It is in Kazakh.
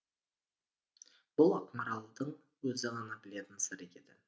бұл ақмаралдың өзі ғана білетін сыры еді